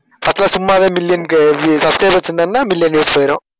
அப்ப சும்மாவே million க்கு subscribers இருந்தார்னா million views போயிரும்